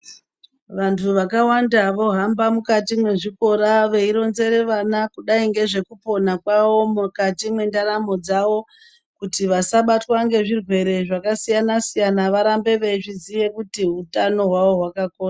Vanthu vakawanda vohamba mukati mwezvikora veironzere vana kudai ngezvekupona kwavo mukati mwendaramo dzavo kuti vasabatwa ngezvirwere zvakasiyana siyana kuti varambe veizviziye kuti hutano hwavo hwakakosha.